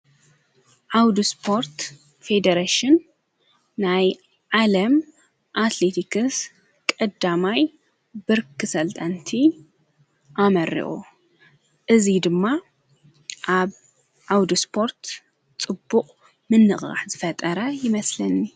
ኣውዱ ስጶርት ፌዴሬሽን ናይ ዓለም ኣትሌቲክስ ቐዳማይ ብርኪ ሰልጣንቲ ኣመርኦ እዙይ ድማ ኣብ ኣውዱ ስጶርት ጽቡቕ ምነቕራሕ ዝፈጠረ ይመስለኒ ?